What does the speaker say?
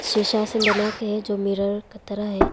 शीशा से बनाके है जो मिरर का तरह है।